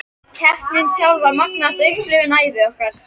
Keppnin sjálf var magnaðasta upplifun ævi okkar.